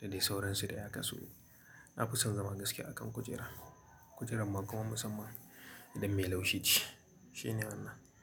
dadai sauransu dai haka so. Na fi son zama gaskiya a kan kujera. Kujerar ma kuma musamman idan mai laushi ce shine wannan.